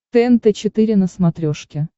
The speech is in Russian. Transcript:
тнт четыре на смотрешке